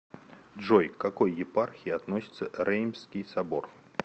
джой к какой епархии относится реймсский собор